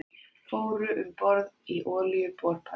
Fóru um borð í olíuborpall